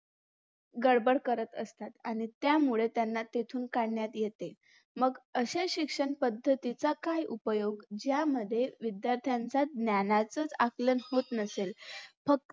गडबड करत असतात आणि त्यामुळे त्यांना तेथून काढण्यात येते मग अशे शिक्षणपद्धतीचा कमी उपयोग ज्यामध्ये विध्यार्थांचा ज्ञानाचं च आकलन होत नसेल फक्त